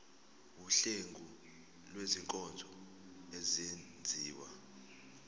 wuhlengo lwezinkonzo ezenziwa